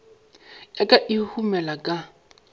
ya ka e huhumela ka